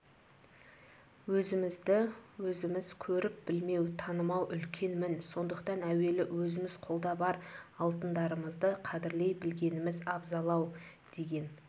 өзімізді өзіміз көріп-білмеу танымау үлкен мін сондықтан әуелі өзіміз қолда бар алтындарымызды қадірлей білгеніміз абзал-ау деген